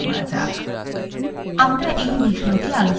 আমরা এই বিষয়টি আলোচনা করব :